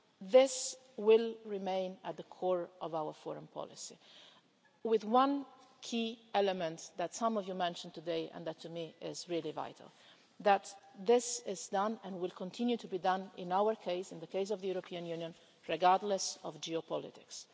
This will remain at the core of our foreign policy, with one key element that some of you mentioned today and that to me is really vital, namely that this is done, and will continue to be done, in the case of the European Union, regardless of geopolitics.